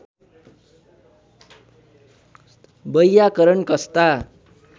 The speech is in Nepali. वैयाकरण कस्ता